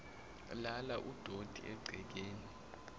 lala udoti egcekeni